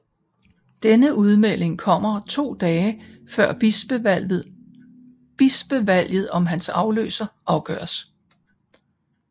Denne udmelding kommer to dage før bispevalget om hans afløser afgøres